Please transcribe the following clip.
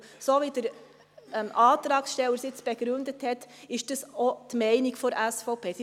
So wie der Antragssteller dies begründet hat, ist dies auch die Meinung der SVP.